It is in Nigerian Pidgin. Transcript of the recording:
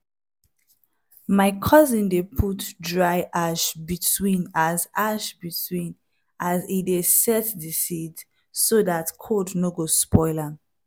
my cousin dey put dry ash between as ash between as e dey set d seeds so dat cold no spoil am